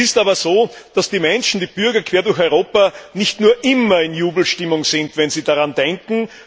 Es ist aber so, dass die Menschen, die Bürger quer durch Europa, nicht nur immer in Jubelstimmung sind, wenn sie daran denken.